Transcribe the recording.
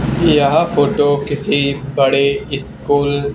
याह photo किसी बड़े इ स्कूल --